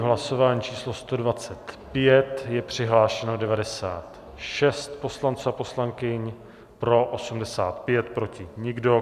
V hlasování číslo 125 je přihlášeno 96 poslanců a poslankyň, pro 85, proti nikdo.